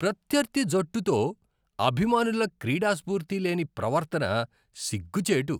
ప్రత్యర్థి జట్టుతో అభిమానుల క్రీడాస్ఫూర్తి లేని ప్రవర్తన సిగ్గుచేటు.